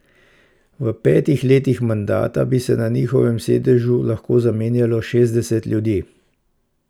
V petih letih mandata bi se na njihovem sedežu lahko zamenjalo šestdeset ljudi.